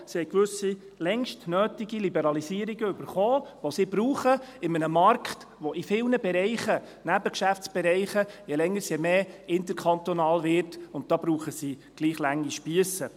Sie haben gewisse, längst nötige, Liberalisierungen erhalten, die sie in einem Markt brauchen, der in vielen Bereichen, Nebengeschäftsbereichen, je länger je mehr interkantonal wird, und da brauchen sie gleich lange Spiesse.